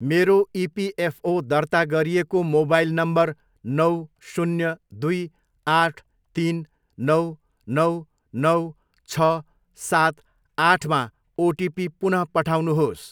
मेरो इपिएफओ दर्ता गरिएको मोबाइल नम्बर नौ, शून्य, दुई, आठ, तिन, नौ, नौ, नौ, छ, सात, आठमा ओटिपी पुन पठाउनुहोस्।